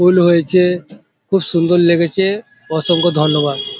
ফুল হয়েছে খুব সুন্দর লেগেছে অসংখ্য ধন্যবাদ।